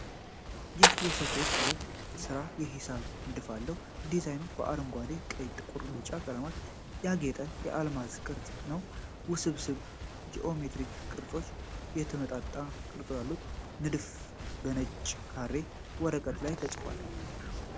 ይህ የስፌት ጥበብ ሥራ የሂሳብ ንድፍ አለው። ዲዛይኑ በአረንጓዴ፣ ቀይ፣ ጥቁርና ቢጫ ቀለማት ያጌጠ የአልማዝ ቅርጽ ነው። ውስብስብ ጂኦሜትሪክ ቅጦችና የተመጣጣኝ ቅርጾች አሉት። ንድፉ በነጭ ካሬ ወረቀት ላይ ተቀርጿል።